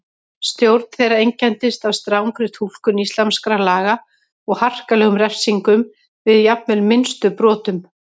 Stjórn þeirra einkenndist af strangri túlkun íslamskra laga og harkalegum refsingum við jafnvel minnstu brotum.